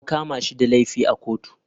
An kama shi da laifi a kotu.